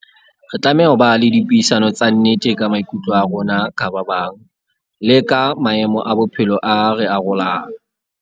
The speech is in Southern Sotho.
Re tlameha ho ba le dipuisano tsa nnete ka maikutlo a rona ka ba bang, le ka maemo a bophelo a re arolang.